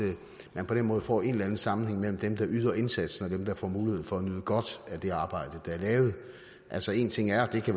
at man på den måde får en eller anden sammenhæng mellem dem der yder indsatsen og dem der får muligheden for at nyde godt af det arbejde der er lavet altså en ting er at det